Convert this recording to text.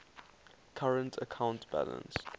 current account balance